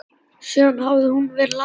Síðan hafði hún verið lasin.